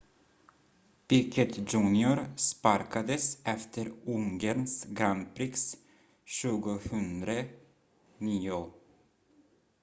piquet jr sparkades efter ungerns grand prix 2009